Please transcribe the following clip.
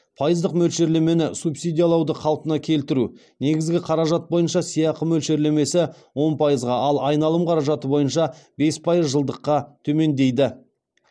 пайыздық мөлшерлемені субсидиялауды қалпына келтіру